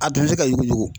A dun tɛ ka yuguyugu